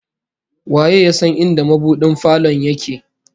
Waye ya san inda mabudin falon yake?